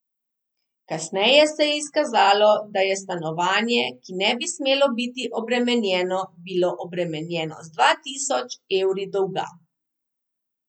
Kasneje se je izkazalo, da je stanovanje, ki ne bi smelo biti obremenjeno, bilo obremenjeno z dva tisoč evri dolga.